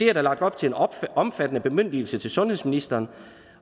er lagt op til en omfattende bemyndigelse til sundhedsministeren